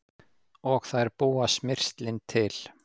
Og þær búa smyrslin til.